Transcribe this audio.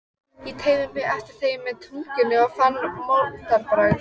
Einu sinni var amfetamín leyft, en ekki lengur.